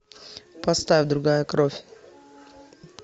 поставь другая кровь